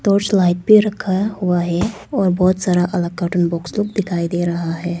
Torch light भी रखा हुआ है और सारा अलग का कार्टून बॉक्स लोग दिखाई दे रहा है।